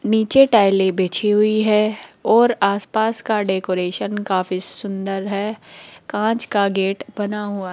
नीचे टाइले बिछी हुई है और आसपास का डेकोरेशन काफी सुंदर है कांच का गेट बना हुआ --